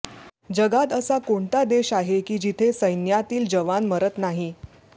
जगात असा कोणता देश आहे की जिथे सैन्यातील जवान मरत नाही